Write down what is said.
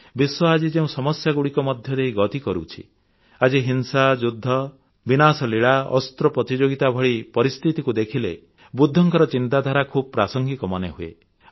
ବିଶ୍ୱ ଆଜି ଯେଉଁ ସମସ୍ୟାଗୁଡ଼ିକ ମଧ୍ୟ ଦେଇ ଗତି କରୁଛି ଆଜି ହିଂସା ଯୁଦ୍ଧ ବିନାଶଲୀଳା ଅସ୍ତ୍ର ପ୍ରତିଯୋଗିତା ଭଳି ପରିସ୍ଥିତିକୁ ଦେଖିଲେ ବୁଦ୍ଧଙ୍କ ଚିନ୍ତାଧାରା ଖୁବ ପ୍ରାସଙ୍ଗିକ ମନେହୁଏ